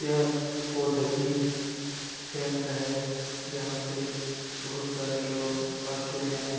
यह पौधे की केंद्र है यहाँ पे बहुत सारे लोग आते हैं।